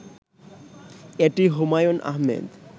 এটি হুমায়ূন আহমেদ